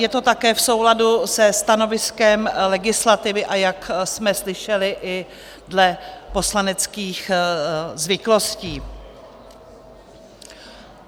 Je to také v souladu se stanoviskem legislativy, a jak jsme slyšeli, i dle poslaneckých zvyklostí.